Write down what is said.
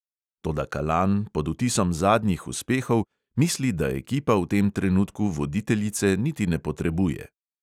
Toda kalan, pod vtisom zadnjih uspehov, misli, da ekipa v tem trenutku voditeljice niti ne potrebuje.